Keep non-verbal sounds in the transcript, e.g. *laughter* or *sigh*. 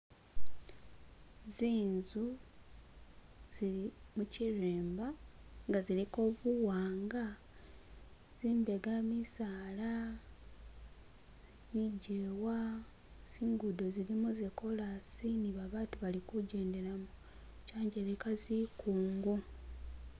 *skip* zinzu *skip* zili mukyirimba nga ziliko buwanga tsimbega misaala *skip* bijewa zingudo zilimo zakolasi nibabatu balikujendelamo kyanjeleka zikungu